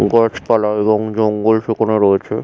গাছ পালা এবং জঙ্গল সেখানে রয়েছে ।